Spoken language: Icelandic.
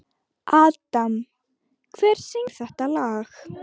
Adam, hver syngur þetta lag?